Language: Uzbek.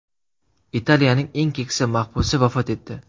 Italiyaning eng keksa mahbusi vafot etdi.